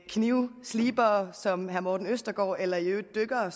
knivslibere som herre morten østergaard eller i øvrigt dykkere